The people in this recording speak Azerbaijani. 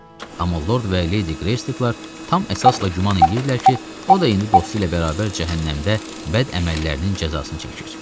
Amma Lord və Leydi Greystaklar tam əsasla güman edirdilər ki, o da indi dostu ilə bərabər cəhənnəmdə bəd əməllərinin cəzasını çəkir.